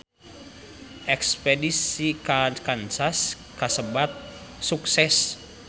Espedisi ka Kansas kasebat sukses